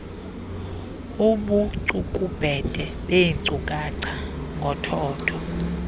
ubucukubhede beenkcukacha ngothotho